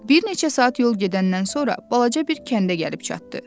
Bir neçə saat yol gedəndən sonra balaca bir kəndə gəlib çatdı.